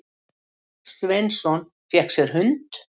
Sveinsson, fékk sér hund.